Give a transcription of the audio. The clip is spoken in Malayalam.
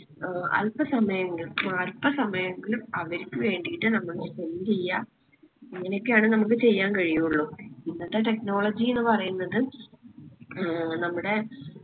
ഏർ അൽപ സമയങ്ങൾ അൽപ സമായെങ്കിലും അവർക്ക് വേണ്ടിയിട്ട് നമ്മള് spend എയ്യ ഇങ്ങനെ ഒക്കെയാണ് നമ്മക്ക് ചെയ്യാൻ കഴിയുള്ളു ഇന്നത്തെ technology എന്ന് പറിയ്ന്നത് ഏർ നമ്മുടെ